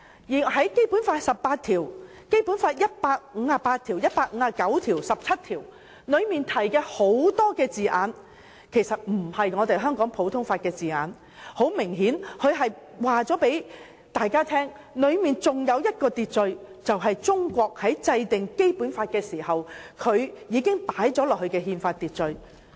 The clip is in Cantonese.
在《基本法》第十七條、第十八條、第一百五十八條及第一百五十九條中的很多字眼其實並非香港普通法的字眼，明顯告訴大家當中還有另一種秩序，即中國在制定《基本法》時已加入的憲法秩序。